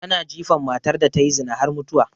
Ana jifan matar da tayi zina har mutuwa